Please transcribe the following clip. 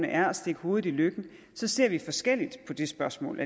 er at stikke hovedet i løkken ser vi forskelligt på det spørgsmål